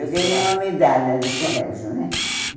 escolar Eu ganhei uma medalha no colégio, né?